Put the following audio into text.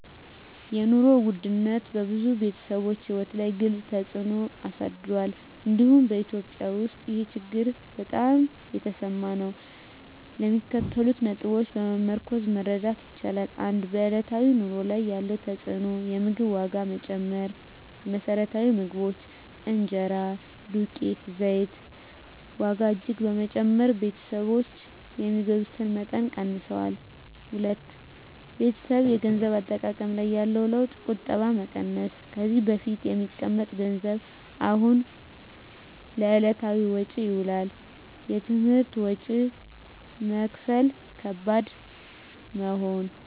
የኑሮ ውድነት በብዙ ቤተሰቦች ሕይወት ላይ ግልፅ ተፅዕኖ አሳድሯል፤ እንዲሁም በEthiopia ውስጥ ይህ ችግር በጣም የተሰማ ነው። ከሚከተሉት ነጥቦች በመመርኮዝ መረዳት ይቻላል፦ 1. በዕለታዊ ኑሮ ላይ ያለው ተፅዕኖ የምግብ ዋጋ መጨመር: የመሰረታዊ ምግቦች (እንጀራ፣ ዱቄት፣ ዘይት) ዋጋ እጅግ በመጨመር ቤተሰቦች የሚገዙትን መጠን ቀንሰዋል። 2. በቤተሰብ የገንዘብ አጠቃቀም ላይ ያለው ለውጥ ቁጠባ መቀነስ: ከዚህ በፊት የሚቀመጥ ገንዘብ አሁን ለዕለታዊ ወጪ ይውላል። የትምህርት ወጪ መክፈል ከባድ መሆን